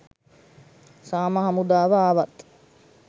සාම හමුදාව ආවත්